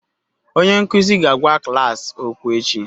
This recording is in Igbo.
Onye nkuzi ga-agwa klas okwu echi